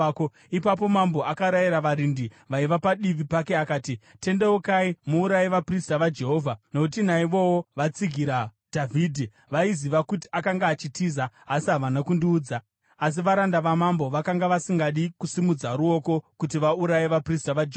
Ipapo mambo akarayira varindi vaiva padivi pake akati, “Tendeukai muuraye vaprista vaJehovha, nokuti naivowo vatsigira Dhavhidhi. Vaiziva kuti akanga achitiza, asi havana kundiudza.” Asi varanda vamambo vakanga vasingadi kusimudza ruoko kuti vauraye vaprista vaJehovha.